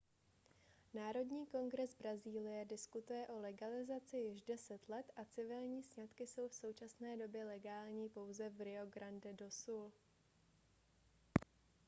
národní kongres brazílie diskutuje o legalizaci již 10 let a civilní sňatky jsou v současné době legální pouze v rio grande do sul